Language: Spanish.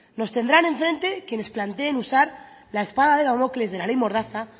nos tendrán enfrente quienes planteen usar la espada de damocles de la ley mordaza